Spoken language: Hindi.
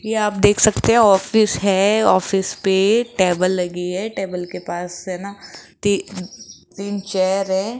ये आप देख सकते हो ऑफिस है ऑफिस पे टेबल लगी है टेबल के पास है ना ती तीन चेयर है।